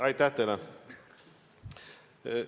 Aitäh teile!